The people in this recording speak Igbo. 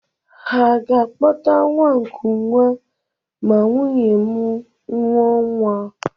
Ha ga-akpọta nwa nkụnwa ma nwunye m mụọ nwa?